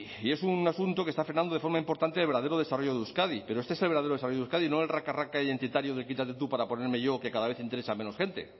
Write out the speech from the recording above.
y es un asunto que está frenando de forma importante el verdadero desarrollo de euskadi pero este es el verdadero desarrollo de euskadi no el raca raca identitario de quítate tú para ponerme yo que cada vez interesa a menos gente